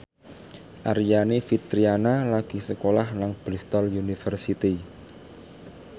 Aryani Fitriana lagi sekolah nang Bristol university